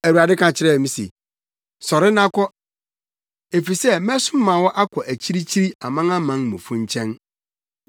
“Awurade ka kyerɛɛ me se, ‘Sɔre na kɔ, efisɛ mɛsoma wo akɔ akyirikyiri, amanamanmufo nkyɛn!’ ”